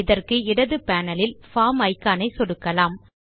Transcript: இதற்கு இடது பேனல் இல் பார்ம் இக்கான் ஐ சொடுக்கலாம்